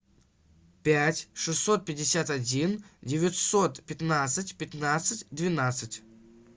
пять шестьсот пятьдесят один девятьсот пятнадцать пятнадцать двенадцать